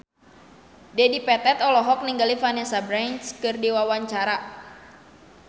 Dedi Petet olohok ningali Vanessa Branch keur diwawancara